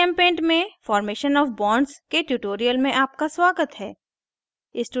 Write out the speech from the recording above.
gchempaint में formation of bonds के tutorial में आपका स्वागत है